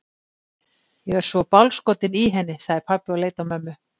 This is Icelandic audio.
Ég er svo bálskotinn í henni, sagði pabbi og leit á mömmu.